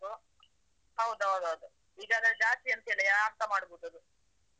ಹೌದು ಹೌದು ಹೌದು ಈಗ ಅಂದ್ರೆ ಜಾತಿ ಅಂತಲ್ಲಾ, ಯಾರ್ಸ ಮಾಡ್ಬಹುದದು.